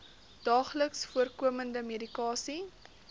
daagliks voorkomende medikasie